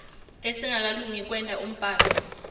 lesingakalungi kwenta umbhalo